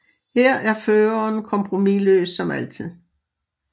Her er Føreren kompromisløs som altid